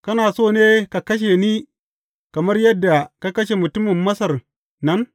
Kana so ne ka kashe ni kamar yadda ka kashe mutumin Masar nan?